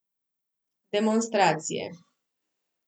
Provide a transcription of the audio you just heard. Demonstracije.